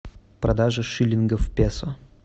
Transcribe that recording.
продажа шиллингов в песо